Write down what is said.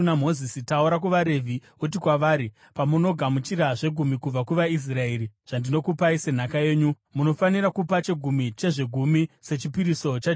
“Taura kuvaRevhi uti kwavari: ‘Pamunogamuchira zvegumi kubva kuvaIsraeri zvandinokupai senhaka yenyu, munofanira kupa chegumi chezvegumi sechipiriso chaJehovha.